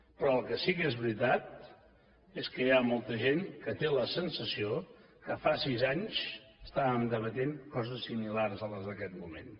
però el que sí que és veritat és que hi ha molta gent que té la sensació que fa sis anys estàvem debatent coses similars a les d’aquest moment